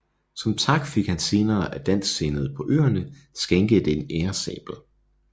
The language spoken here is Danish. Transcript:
Som tak fik han senere af dansksindede på øerne skænket en æresabel